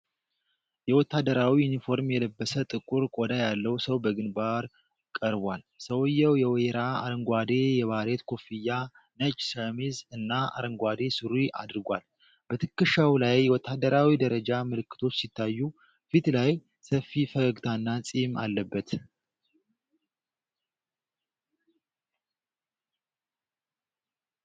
የወታደራዊ ዩኒፎርም የለበሰ፣ ጥቁር ቆዳ ያለው ሰው በግንባር ቀርቧል። ሰውየው የወይራ አረንጓዴ የባሬት ኮፍያ፣ ነጭ ሸሚዝ እና አረንጓዴ ሱሪ አድርጓል። በትከሻው ላይ የወታደራዊ ደረጃ ምልክቶች ሲታዩ፣ ፊቱ ላይ ሰፊ ፈገግታና ጺም አለበት።